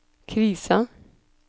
krisa